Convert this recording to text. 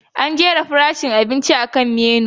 An jera farashin abinci akan Menu.